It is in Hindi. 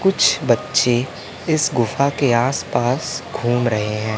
कुछ बच्चे इस गुफा के आसपास घूम रहे हैं।